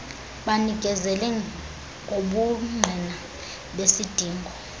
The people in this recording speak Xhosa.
banikezele ngobungqina besidingo